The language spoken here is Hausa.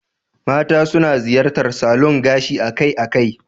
Mata suna ziyartar salon gashi akai-akai.